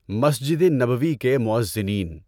مسجد نبوی کے مُؤَذّنِین۔